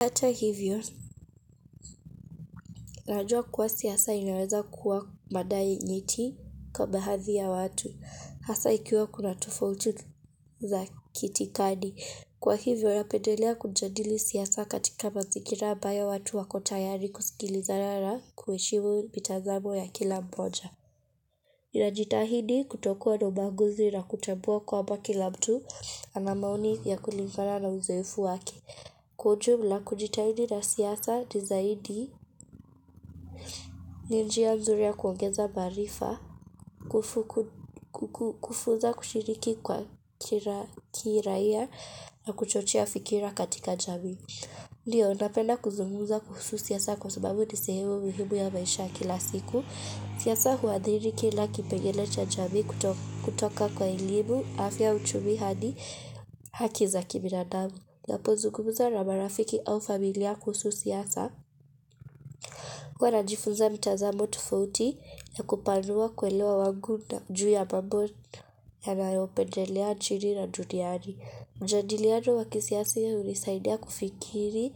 Hata hivyo, najua kuwa siasa imeweza kuwa madai nyeti kwa baadhi ya watu. Hasa ikiwa kuna tofauti za kitikadi. Kwa hivyo, napedelea kujadili siasa katika mazingira ambayo watu wakotayari kusikilizana na kueshimu mitazamo ya kila mmoja. Ninajitahidi kutokuwa na ubaguzi na kutambua kwamba kila mtu ana maoni ya kulingana na uzoefu wake. Kwa ujumla kujitahidi na siasa ni zaidi, ni njia nzuri ya kuongeza maarifa, kufunza kushiriki kwa kira kiraia na kuchochea fikira katika jamii. Ndio napenda kuzungumuza kuhusu siasa kwa sababu ni sehemu mihimu ya maisha kila siku. Siasa huadhiri kila kipengele cha jamii kutoka kwa elimu, afya uchumi hadi haki za kibinadamu. Napo zungumuza na marafiki au familia kuhusu siasa huwa najifunza mtazamo tofauti ya kupanua kuelewa wangu juu ya mambo yanayopendelea nchini na duniani. Mjadiliano wakisiasi hunisaidia kufikiri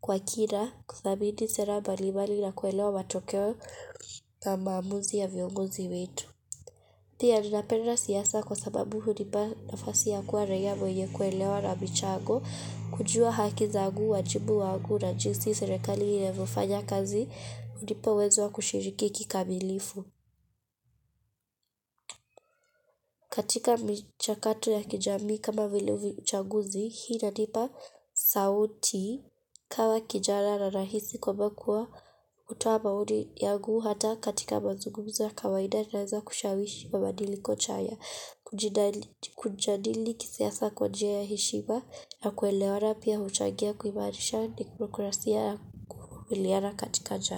kwa kina kuthabiti sera mbali mbali na kuelewa matokeo na maamuzi ya vyongozi wetu. Pia ninapenda siasa kwa sababu hunipa nafasi ya kuwa raia mwenye kuelewa na michago, kujua haki zaangu, wajibu wangu na jinsi serikali inavyofanya kazi hunipa uwezo wa kushiriki kikamilifu. Katika mchakato ya kijamii kama vile uchaguzi, hii inanipa sauti kama kijana na rahisi kwamba kuwa kutoa maoni yangu hata katika mazumgumuzo ya kawaida naweza kushawishi wa madilikochan ya. Kujadili kisiasa kwa njia ya hishima ya kuelewana pia uchangia kuimarisha demokrasia ya kuvimiliana katika jamii.